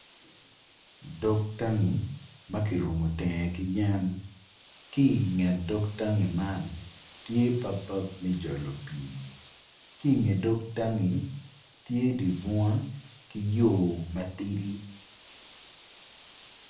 Dok tangi ma kirumo teng ki yen ki i nget dog tangi man tye papap me jolo pii ki i nge dog tangi tye dye bunga ki yo ma tidi.